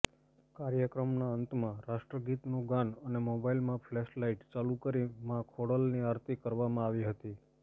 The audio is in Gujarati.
કાર્યક્રમના અંતમાં રાષ્ટ્રગીતનું ગાન અને મોબાઈલમાં ફ્લેશલાઈટ ચાલુ કરી મા ખોડલની આરતી કરવામાં આવી હતી